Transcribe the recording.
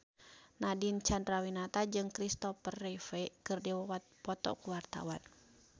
Nadine Chandrawinata jeung Christopher Reeve keur dipoto ku wartawan